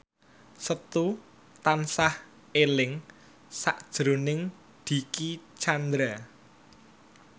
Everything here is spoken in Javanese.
Setu tansah eling sakjroning Dicky Chandra